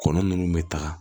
Kɔnɔ nunnu bɛ taga